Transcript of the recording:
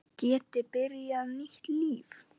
Geti byrjað nýtt líf.